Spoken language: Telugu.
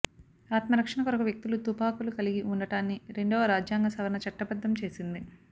ఆత్మరక్షణ కొరకు వ్యక్తులు తుపాకులు కలిగి ఉండటాన్ని రెండవ రాజ్యాంగ సవరణ చట్టబద్ధం చేసింది